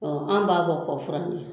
Ɔ an b'a bɔ kɔfuran na